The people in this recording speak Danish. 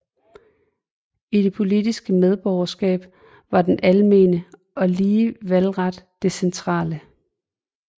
I det politiske medborgerskab var den almene og lige valgret det centrale